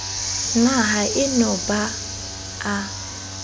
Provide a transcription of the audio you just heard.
na haeno ha ba a